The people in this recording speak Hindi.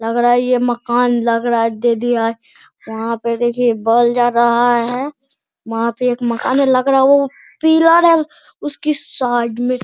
लग रहा है ये मकान लग रहा है दे दिया है वहाँ पर देखिए बॉल जा रहा है वहाँ पे एक मकान वो लग रहा है पिलर है उसके साइड मे --